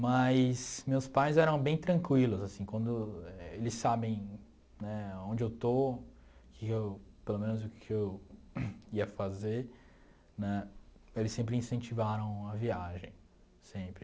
Mas meus pais eram bem tranquilos, assim, quando eles sabem né onde eu estou, que que eu pelo menos o que que eu ia fazer né, eles sempre incentivaram a viagem, sempre.